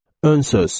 Ön söz.